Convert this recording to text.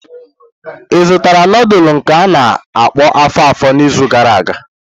Ị zụtara nudulu nke a-na akpo afo-afo n'izu gara aga?